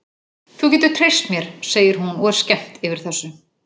Þú getur treyst mér, segir hún og er skemmt yfir þessu.